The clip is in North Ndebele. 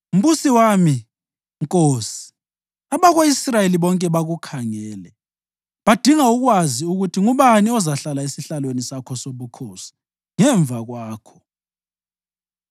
Mbusi wami, nkosi, abako-Israyeli bonke bakukhangele, badinga ukwazi ukuthi ngubani ozahlala esihlalweni sakho sobukhosi ngemva kwakho.